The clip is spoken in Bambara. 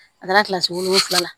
A taara kilasi wolonwula la